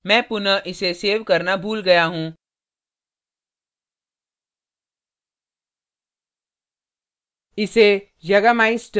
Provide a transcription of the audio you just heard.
मैं पुनः इसे सेव करना भूल गया हूँ